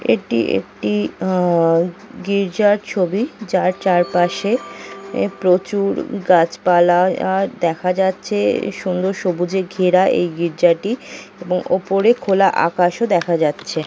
এটি একটি আ-আ গির্জার ছবি। যার চারপাশে প্রচুর গাছপালা দেখা যাচ্ছে। সুন্দর-সবুজে ঘেরা এই গির্জা -টি এবং ওপরে খোলা আকাশও দেখা যাচ্ছে।